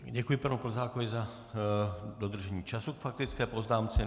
Děkuji panu Plzákovi za dodržení času k faktické poznámce.